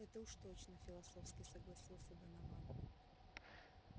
это уж точно философски согласился донован